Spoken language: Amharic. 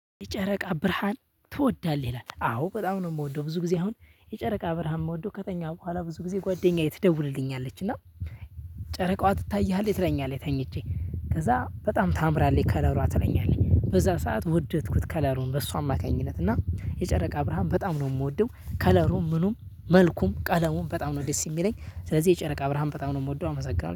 የጨረቃ ብርሃን ትወዳለህ ይላል? አዎ በጣም ነው የምወደው። ብዙ ጊዜ አሁን የጨረቃ ብርሃን የምወደው ከተኛሁ በኋላ ብዙ ጊዜ ጓደኛዬ ትደውልልኛለች እና ጨረቃዋ ትታይሃለች ትለኛለች። ተኝቼ ከዛ በጣም ታምራለች። ከለሯ ትለኛለች በዛ ሰዓት ወደድኩት ከለሩን በሷ አማካኝነት እና የጨረቃ ብርሃን በጣም ነው የምወደው። ከለሩም ምኑም መልኩም ቀለሙም በጣም ነው ደስ የሚለኝ። ስለዚህ የጨረቃ ብርሃን በጣም ነው የምወደው። አመሰግናለሁ